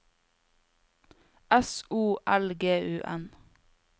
S O L G U N